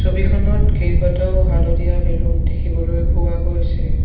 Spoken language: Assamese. ছবিখনত কেইবাটাও হালধীয়া বেলুন দেখিবলৈ পোৱা গৈছে।